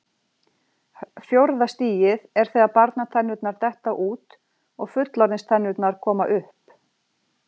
Fjórða stigið er þegar barnatennurnar detta út og fullorðinstennurnar koma upp.